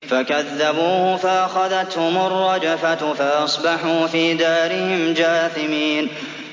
فَكَذَّبُوهُ فَأَخَذَتْهُمُ الرَّجْفَةُ فَأَصْبَحُوا فِي دَارِهِمْ جَاثِمِينَ